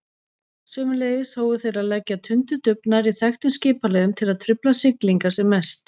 Sömuleiðis hófu þeir að leggja tundurdufl nærri þekktum skipaleiðum til að trufla siglingar sem mest.